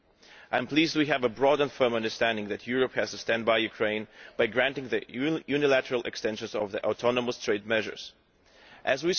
I am pleased we have a broad and firm understanding that Europe has to stand by Ukraine by granting the unilateral extension of the autonomous trade measures As